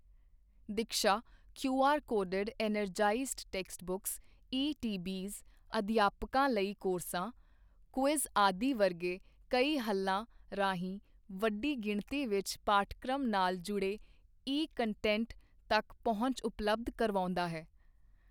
Diksha QR coded energized text books ETBs, ਅਧਿਆਪਕਾਂ ਲਈ ਕੋਰਸਾਂ, ਕੁਇਜ਼ ਆਦਿ ਵਰਗੇ ਕਈ ਹੱਲਾਂ ਰਾਹੀਂ ਵੱਡੀ ਗਿਣਤੀ ਵਿਚ ਪਾਠਕ੍ਰਮ ਨਾਲ ਜੁੜੇ ਈ ਕੰਟੈਂਟ ਤੱਕ ਪਹੁੰਚ ਉਪਲਬਧ ਕਰਵਾਉਂਦਾ ਹੈ।